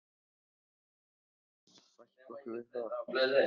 Við verðum bæði að sætta okkur við það.